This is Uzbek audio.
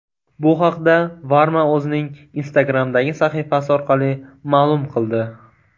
Bu haqda Varma o‘zining Instagram’dagi sahifasi orqali ma’lum qildi .